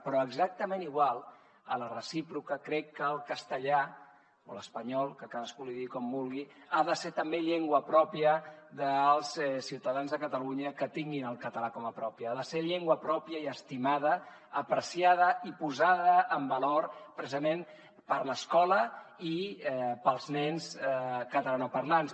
però exactament igual a la recíproca crec que el castellà o l’espanyol que cadascú en digui com vulgui ha de ser també llengua pròpia dels ciutadans de catalunya que tinguin el català com a pròpia ha de ser llengua pròpia i estimada apreciada i posada en valor precisament per l’escola i pels nens catalanoparlants